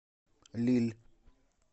лилль